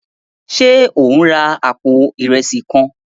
Ṣe o n rà apó Ìrẹsí kàn?